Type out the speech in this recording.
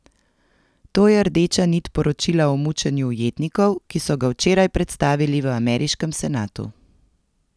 To je rdeča nit poročila o mučenju ujetnikov, ki so ga včeraj predstavili v ameriškem senatu.